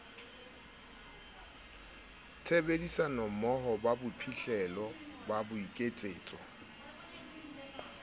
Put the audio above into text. tshebedisanommoho ba bophihlelo ba boiketsetso